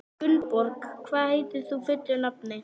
Gunnborg, hvað heitir þú fullu nafni?